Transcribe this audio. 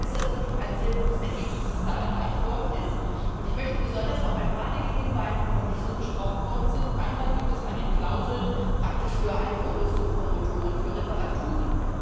Darum ist das wirklich ein sehr gutes Ergebnis, das da erreicht worden ist, und ich möchte besonders auf ein paar Dinge hinweisen, die noch nicht so besprochen worden sind Einmal gibt es eine Klausel praktisch für eine Umrüstung von Motoren bei Reparaturen.